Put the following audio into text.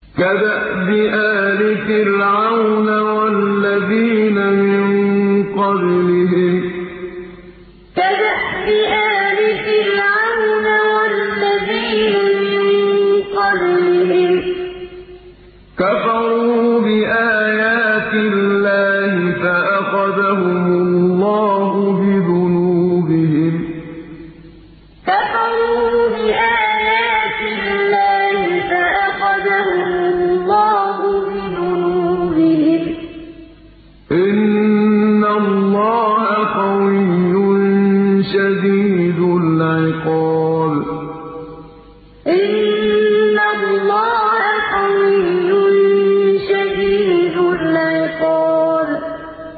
كَدَأْبِ آلِ فِرْعَوْنَ ۙ وَالَّذِينَ مِن قَبْلِهِمْ ۚ كَفَرُوا بِآيَاتِ اللَّهِ فَأَخَذَهُمُ اللَّهُ بِذُنُوبِهِمْ ۗ إِنَّ اللَّهَ قَوِيٌّ شَدِيدُ الْعِقَابِ كَدَأْبِ آلِ فِرْعَوْنَ ۙ وَالَّذِينَ مِن قَبْلِهِمْ ۚ كَفَرُوا بِآيَاتِ اللَّهِ فَأَخَذَهُمُ اللَّهُ بِذُنُوبِهِمْ ۗ إِنَّ اللَّهَ قَوِيٌّ شَدِيدُ الْعِقَابِ